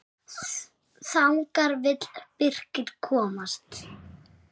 Þangað vill Birkir komast.